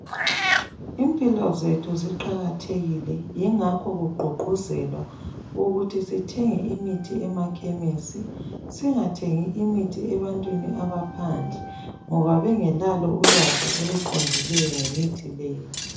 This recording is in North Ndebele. Impilo zethu ziqakathekile yingakho kugqugquzelwa ukuthi sithenge imithi emakhemesi singathengi imithi ebantwini abaphandle ngoba bengelalo ulwazi oluqondileyo ngemithi leyi.